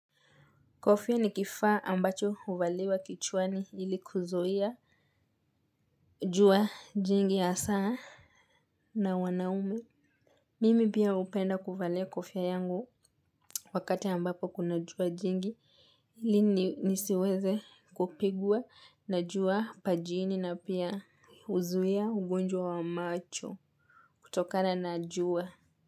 Kofia ni kifaa ambacho uvaliwa kichwani ili kuzuia jua jingi asaa na wanaume. Mimi pia upenda kuvalia kofia yangu wakati ambapo kuna jua jingi ili nisiweze kupigwa na jua pajini na pia uzuia ugonjwa wa macho kutokana na ujua.